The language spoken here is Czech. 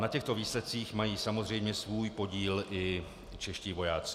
Na těchto výsledcích mají samozřejmě svůj podíl i čeští vojáci.